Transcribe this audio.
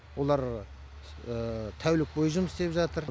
олар тәулік бойы жұмыс істеп жатыр